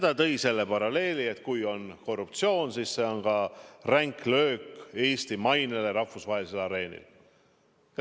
Ta tõi selle paralleeli, et kui on korruptsioon, siis see on ränk löök Eesti mainele rahvusvahelisel areenil.